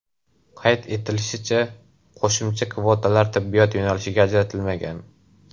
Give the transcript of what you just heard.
Qayd etilishicha, qo‘shimcha kvotalar tibbiyot yo‘nalishiga ajratilmagan.